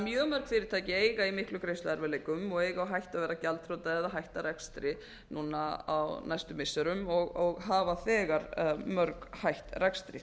mjög mörg fyrirtæki eiga í miklum greiðsluerfiðleikum og eiga á hættu að verða gjaldþrota eða hætta rekstri núna á næstu missirum og hafa þegar mörg hætt rekstri